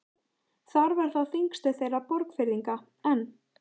Þar var þá þingstöð þeirra Borgfirðinga, en